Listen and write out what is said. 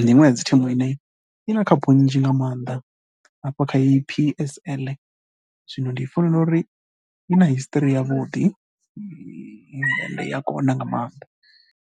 ndi iṅwe ya dzi thimu ine i na khaphu nnzhi nga maanḓa hafha kha heyi P_S_L zwino ndi funela uri i na history yavhuḓi, i ya kona nga maanḓa.